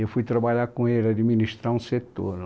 Eu fui trabalhar com ele, administrar um setor lá.